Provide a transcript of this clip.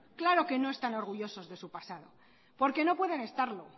claro que no están orgullosos de su pasado porque no pueden estarlo